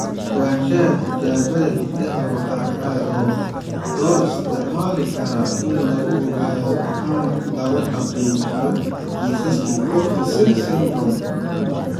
http://www.ncbi.nlm.nih.gov/books/NBK131811/#coffin siris. Ogaanshaha Tijaabada Hiddaha waxa kale oo loo isticmaali karaa in lagu ogaado ama lagu xaqiijiyo kiisaska Coffin Siris syndrome.